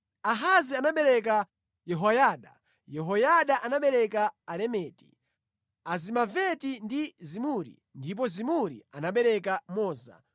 Ahazi anabereka Yehoyada, Yehoyada anabereka Alemeti, Azimaveti ndi Zimuri, ndipo Zimuri anabereka Moza.